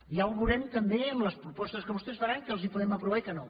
ja ho veurem també amb les propostes que vostès faran què els podem aprovar i què no